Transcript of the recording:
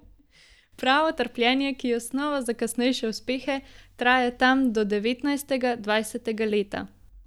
Pravo trpljenje, ki je osnova za kasnejše uspehe, traja tam do devetnajstega, dvajsetega leta.